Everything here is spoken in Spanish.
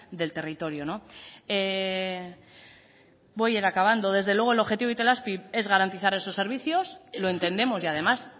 del territorio no voy a ir acabando desde luego el objetivo de itelazpi es garantizar esos servicios lo entendemos y además